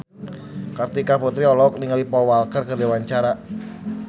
Kartika Putri olohok ningali Paul Walker keur diwawancara